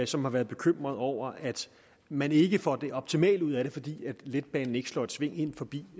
som har været bekymret over at man ikke får det optimale ud af det fordi letbanen ikke slår et sving ind forbi